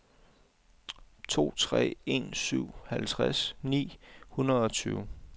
to tre en syv halvtreds ni hundrede og tyve